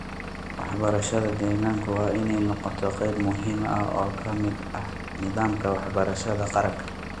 Waxbarashada deegaanka waa inay noqotaa qayb muhiim ah oo ka mid ah nidaamka waxbarashada qaranka.